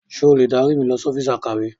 Ṣé o lè dárí mi lọ sí ọ́fíìsì akọ̀we?